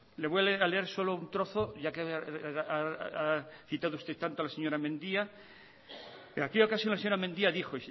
le voy a leer solo un trozo ya que ha citado usted tanto a la señora mendia y en aquella ocasión la señora mendia dijo